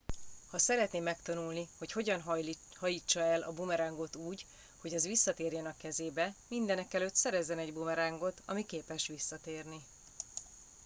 ha szeretné megtanulni hogy hogyan hajítsa el a bumerángot úgy hogy az visszatérjen a kezébe mindenekelőtt szerezzen egy bumerángot ami képes visszatérni